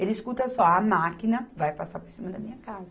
Eles escutam só a máquina vai passar por cima da minha casa.